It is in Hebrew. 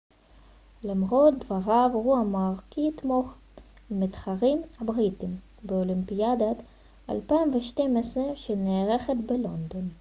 למרות דבריו הוא אמר כי יתמוך במתחרים הבריטים באולימפיאדת 2012 שנערכת בלונדון